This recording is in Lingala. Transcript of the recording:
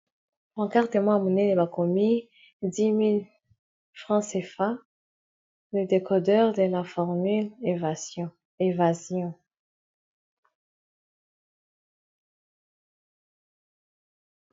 Pancarte moko ya monene bakomi10.000 franc sefa le decodeur de la formule evasion